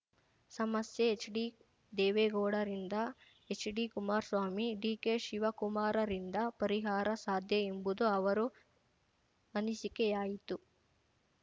ಸಮಸ್ಯೆ ಎಚ್‌ಡಿ ದೇವೇಗೌಡರಿಂದ ಎಚ್‌ಡಿಕುಮಾರ್ ಸ್ವಾಮಿ ಡಿಕೆಶಿವಕುಮಾರರಿಂದ ಪರಿಹಾರ ಸಾಧ್ಯ ಎಂಬುದು ಅವರು ಅನಿಸಿಕೆಯಾಯಿತ್ತು